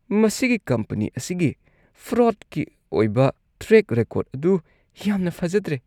ꯃꯁꯤꯒꯤ ꯀꯝꯄꯅꯤ ꯑꯁꯤꯒꯤ ꯐ꯭ꯔꯣꯗꯀꯤ ꯑꯣꯏꯕ ꯇ꯭ꯔꯦꯛ ꯔꯦꯀꯣꯔꯗ ꯑꯗꯨ ꯌꯥꯝꯅ ꯐꯖꯗ꯭ꯔꯦ꯫